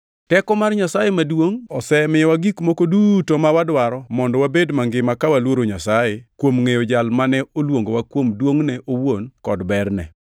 Teko mar Nyasaye maduongʼ osemiyowa gik moko duto ma wadwaro mondo wabed mangima ka waluoro Nyasaye, kuom ngʼeyo Jal mane oluongowa kuom duongʼne owuon kod berne.